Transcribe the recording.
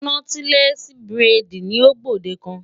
Nọ́tílẹ́ẹ̀sì buredì ni ó gbòdekan.